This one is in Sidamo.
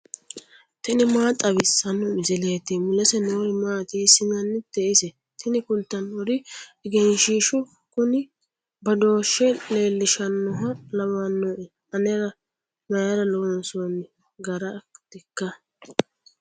tini maa xawissanno misileeti ? mulese noori maati ? hiissinannite ise ? tini kultannori egenshshiishshu kuni badooshshe leellishannoha lawannoe anera mayra loonsoonni garartikka